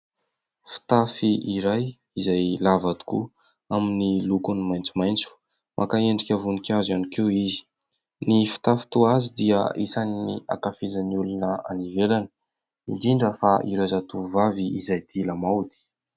Fitafy iray izay lava tokoa amin'ny lokony maitsomaitso, maka endrika voninkazo ihany koa izy, ny fitafy toa azy dia isan'ny ankafizan'ny olona any ivelany indindra fa ireo zatovovavy izay tia lamaody.